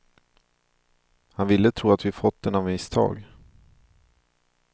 Han ville tro att vi fått den av misstag.